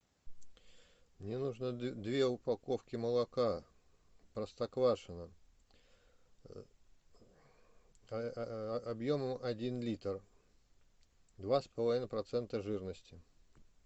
мне нужно две упаковки молока простоквашино объемом один литр два с половиной процента жирности